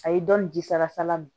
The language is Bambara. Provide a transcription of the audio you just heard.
A ye dɔnni ji sara min